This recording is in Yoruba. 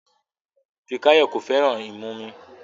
Fikayomi kò fẹ́ràn ìmumu